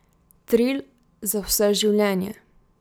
Trill za vse življenje.